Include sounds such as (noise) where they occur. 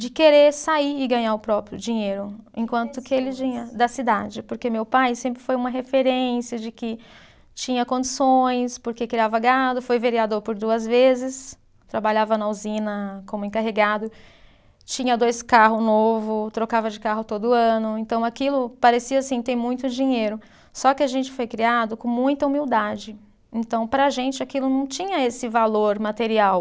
De querer sair e ganhar o próprio dinheiro, enquanto que ele. (unintelligible) Da cidade, porque meu pai sempre foi uma referência de que tinha condições, porque criava gado, foi vereador por duas vezes, trabalhava na usina como encarregado, tinha dois carro novo, trocava de carro todo ano, então aquilo parecia assim, ter muito dinheiro, só que a gente foi criado com muita humildade, então para a gente aquilo não tinha esse valor material,